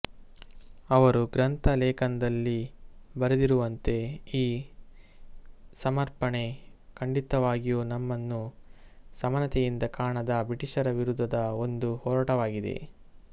ಅವರು ಗ್ರಂಥ ಲೇಖನದಲ್ಲಿ ಬರೆದಿರುವಂತೆ ಈ ಸಮರ್ಪಣೆ ಖಂಡಿತವಾಗಿಯೂ ನಮ್ಮನ್ನು ಸಮಾನತೆಯಿಂದ ಕಾಣದ ಬ್ರಿಟೀಷರ ವಿರುದ್ಧದ ಒಂದು ಹೋರಾಟವಾಗಿದೆ